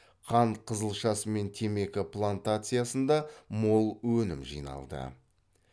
қант қызылшасы мен темекі плантациясында мол өнім жиналды